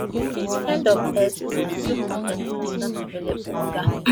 end of x post 2 con ten t is not available oga